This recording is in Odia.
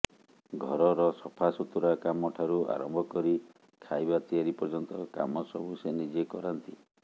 ଘରର ସଫାସୁତୁରା କାମ ଠାରୁ ଆରମ୍ଭ କରି ଖାଇବା ତିଆରି ପର୍ଯ୍ୟନ୍ତ କାମ ସବୁ ସେ ନିଜେ କରାନ୍ତି